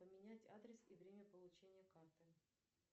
поменять адрес и время получения карты